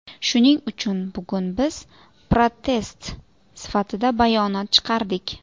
Shuning uchun bugun biz protest sifatida bayonot chiqardik.